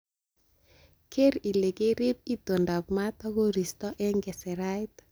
Keer ile kerib itondab maat ak koristo en keserait.